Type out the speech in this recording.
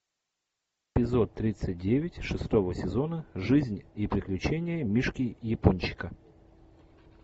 эпизод тридцать девять шестого сезона жизнь и приключения мишки япончика